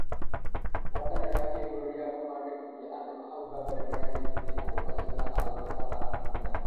Gwatanĩro ya gĩbũrũri ya kũmandĩkithia andũ hau gabere nĩyandĩkireba andũ acio ta arũme kana atumia .